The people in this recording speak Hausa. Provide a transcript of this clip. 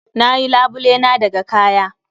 Na yi labule na daga kaya.